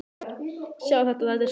Sjáiði! Þetta er Skógafoss.